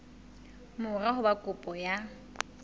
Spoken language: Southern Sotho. mora ho ba kopo ya